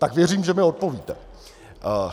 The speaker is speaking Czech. Tak věřím, že mi odpovíte.